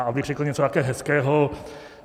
A abych řekl také něco hezkého.